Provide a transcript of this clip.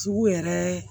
Sugu yɛrɛ